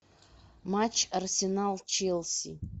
матч арсенал челси